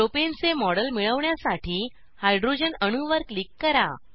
प्रोपेनचे model मिळवण्यासाठी hydrogen अणूवर click करा